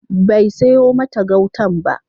Bai sayo mata gautan ba.